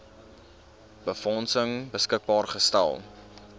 befondsing beskikbaar gestel